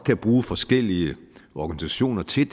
bruge forskellige organisationer til